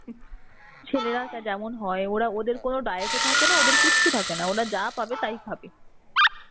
ছেলেরা টা যেমন হয় ওদের কোনো diet ও থাকেনা, ওদের কিছু থাকেনা. ওরা যা পাবে তাই খাবে.